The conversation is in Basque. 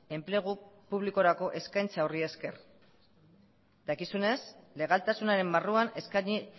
enplegu publikorako eskaintza horri esker dakizunez legaltasunaren barruan eskaini